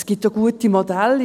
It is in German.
Es gibt auch gute Modelle.